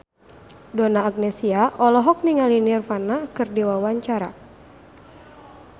Donna Agnesia olohok ningali Nirvana keur diwawancara